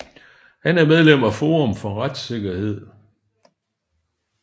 Han er medlem af Forum for retssikkerhed